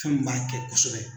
Fɛn min b'a kɛ kosɛbɛ.